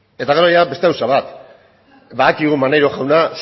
eta gero ia beste gauza bat badakigu maneiro jauna